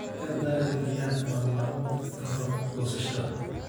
Ka daadi biyaha tawan maalmood ka hor goosashada.